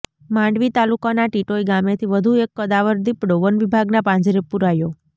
માંડવી તાલુકાના ટીટોઈ ગામેથી વધુ એક કદાવર દીપડો વનવિભાગના પાંજરે પુરાયો